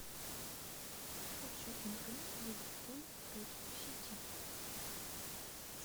хочу игру ливерпуль против сити